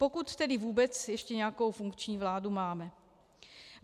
Pokud tedy vůbec ještě nějakou funkční vládu máme.